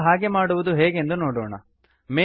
ನಾವೀಗ ಹಾಗೆ ಮಾಡುವುದು ಹೇಗೆಂದು ನೋಡೋಣ